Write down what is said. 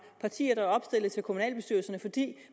partier der opstiller til kommunalbestyrelserne